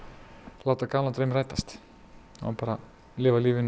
láta gamlan draum rætast og lifa lífinu